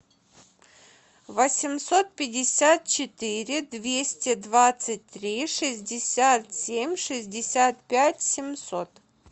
восемьсот пятьдесят четыре двести двадцать три шестьдесят семь шестьдесят пять семьсот